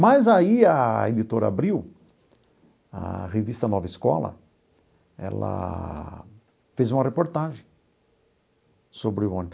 Mas aí a editora abriu, a revista Nova Escola, ela fez uma reportagem sobre o ônibus.